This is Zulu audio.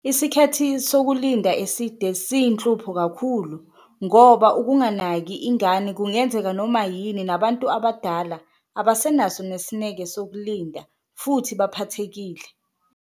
Isikhathi sokulinda eside siyihlupho kakhulu ngoba ukunganaki ingane kungenzeka noma yini, nabantu abadala abasenaso nesineke sokulinda futhi baphathekile.